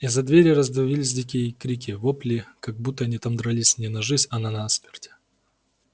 из-за двери раздавались такие дикие крики-вопли как будто они там дрались не на жизнь а на смерть